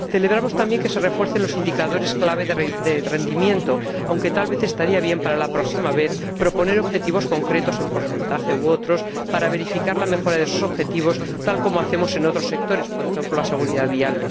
Celebramos también que se refuercen los indicadores clave de rendimiento, aunque tal vez convendría para la próxima vez proponer objetivos concretos, como porcentajes u otros criterios, para verificar la mejora de estos objetivos, al igual que en otros sectores como, por ejemplo, la seguridad vial.